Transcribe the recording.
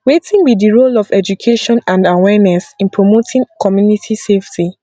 wetin be di role of education and awareness in promoting community safety